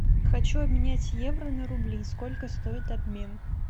хочу обменять евро на рубли сколько стоит обмен